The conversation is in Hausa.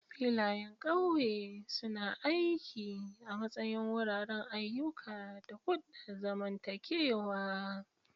Filayen ƙauye suna aiki a matsayin wuraren ayyuka da hulɗar zamantakewa.